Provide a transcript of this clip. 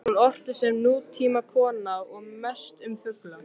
Hún orti sem nútímakona og mest um fugla.